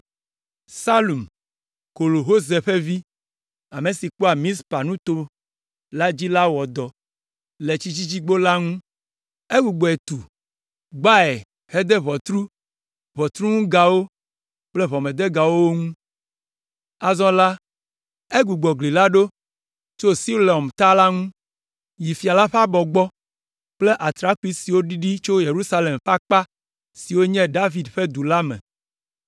Salum, Kol Hoze ƒe vi, ame si kpɔa Mizpa nuto la dzi la wɔ dɔ le Tsidzidzigbo la ŋu. Egbugbɔe tu, gbae, hede ʋɔtru, ʋɔtruŋugawo kple ʋɔmedegawo wo ŋu. Azɔ la, egbugbɔ gli la ɖo tso Siloam Ta la ŋu yi fia la ƒe abɔ gbɔ kple atrakpui siwo ɖiɖi tso Yerusalem ƒe akpa si nye Fia David ƒe du la me.